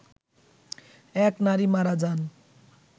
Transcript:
এক নারী মারা যান